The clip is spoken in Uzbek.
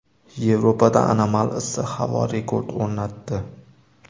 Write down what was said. Yevropada anomal issiq havo rekord o‘rnatdi.